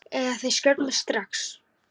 Eða þeir skjóta mig strax.